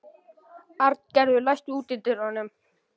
Arngerður, læstu útidyrunum.